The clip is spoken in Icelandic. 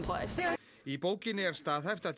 í bókinni er staðhæft að